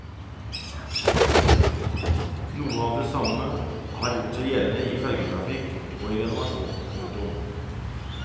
Noe av det samme har gjort seg gjeldende i fergetrafikk og i renovasjon. punktum